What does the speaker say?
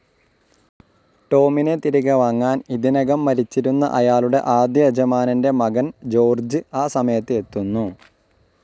Tom തിരികെ വാങ്ങാൻ, ഇതിനകം മരിച്ചിരുന്ന അയാളുടെ ആദ്യയജമാനന്റെ മകൻ ജോർജ്ജ് ആ സമയത്ത് എത്തുന്നു.